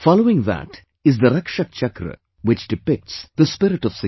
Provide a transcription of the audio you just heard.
Following that is the Rakshak Chakra which depicts the spirit of security